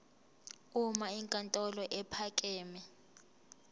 uma inkantolo ephakeme